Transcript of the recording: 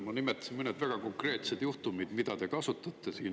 Ma nimetasin mõned väga konkreetsed juhtumid, mida te kasutate siin.